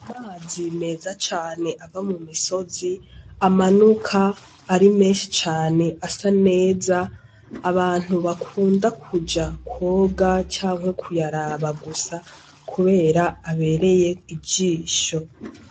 Amazi meza cane ava mu misozi, amanuka ari menshi cane asa neza, abantu bakunda kuja kwoga canke kuyaraba gusa kubera abereye ijisho.